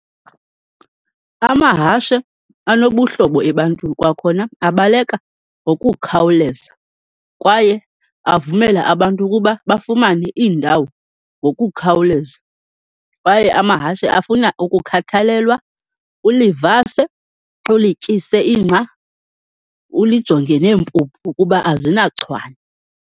Amahashe anobuhlobo ebantwini, kwakhona abaleka ngokukhawuleza, kwaye avumela abantu ukuba bafumane iindawo ngokukhawuleza. Kwaye amahashe afuna ukukhathalelwa, ulivase, ulityise ingca, ulijonge neempuphu ukuba azinachwane.